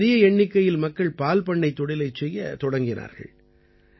இங்கே பெரிய எண்ணிக்கையில் மக்கள் பால் பண்ணைத் தொழிலைச் செய்யத் தொடங்கினார்கள்